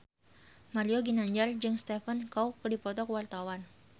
Mario Ginanjar jeung Stephen Chow keur dipoto ku wartawan